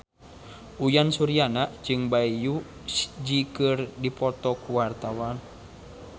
Uyan Suryana jeung Bae Su Ji keur dipoto ku wartawan